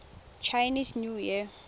chinese new year